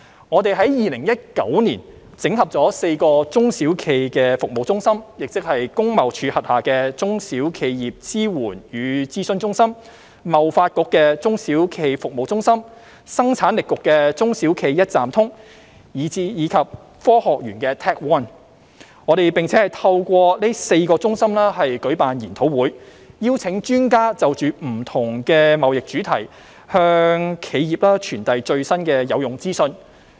我們在2019年整合了4個中小企服務中心，即工業貿易署轄下的"中小企業支援與諮詢中心"、香港貿易發展局的"中小企服務中心"、香港生產力促進局的"中小企一站通"，以及香港科技園公司的 TecONE， 並透過這4個中心舉辦研討會，邀請專家就不同的貿易主題向企業傳遞最新的有用資訊。